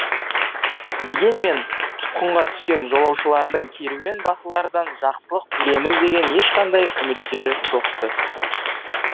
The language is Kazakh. дегенмен тұтқынға түскен жолаушылардың керуен басылардан жақсылық көреміз деген ешқандай үміттері жоқ ты